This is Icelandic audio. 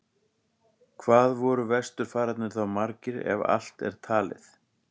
Hvað voru vesturfararnir þá margir, ef allt er talið?